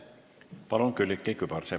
Palun, Külliki Kübarsepp!